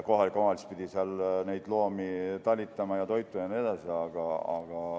Kohalik omavalitsus pidi seal neid loomi talitama ja toitma ja nii edasi.